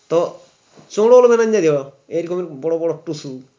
তো চোরোল ম্যানেজা দিব এরকমই বড়ো বড়ো টুসু